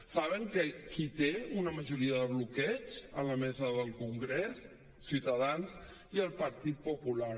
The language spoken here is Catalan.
saben qui té una majoria de bloqueig a la mesa del congrés ciutadans i el partit popular